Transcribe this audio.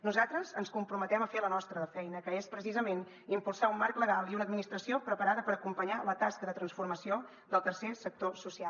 nosaltres ens comprometem a fer la nostra de feina que és precisament impulsar un marc legal i una administració preparada per acompanyar la tasca de transformació del tercer sector social